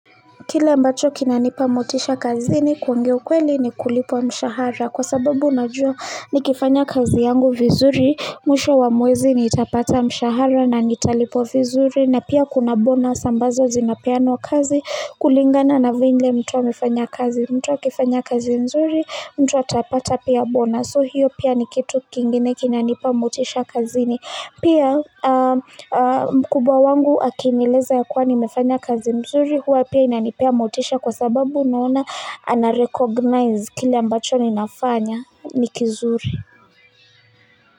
Kile ambacho kina nipa motisha kazini, kuongea ukweli ni kulipwa mshahara. Kwa sababu unajua nikifanya kazi yangu vizuri, mwisho wa mwezi niitapata mshahara na nitalipwa vizuri. Na pia kuna bonus ambazo zinapeanwa kazi kulingana na vile mtu amefanya kazi. Mtu akifanya kazi mzuri, mtu wa atapata pia bonus. So hiyo pia ni kitu kingine kina nipamotisha kazini. Pia mkubwa wangu akinileza ya kuwa nimefanya kazi mzuri huwa pia inanipea motisha kwa sababu unaona anarecognize kile ambacho ninafanya nikizuri.